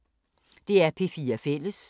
DR P4 Fælles